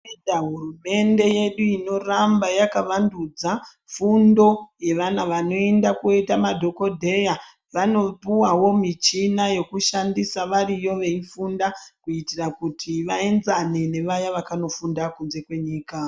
Totenda hurumende yedu inoramba yakavandudza fundo yevana vanoenda koita madhokodheya, vanopuwawo michina yekushandisa variyo veifunda kuitira kuti vaenzane nevaya vakandofunda kunze kwenyika.